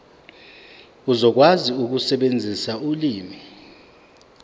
uzokwazi ukusebenzisa ulimi